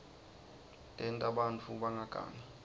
tenta bantfu bangagangi